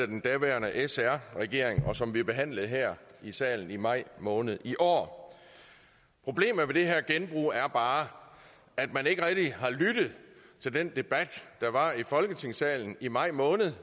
den daværende sr regering og som blev behandlet her i salen i maj måned i år problemet med det her genbrug er bare at man ikke rigtig har lyttet til den debat der var i folketingssalen i maj måned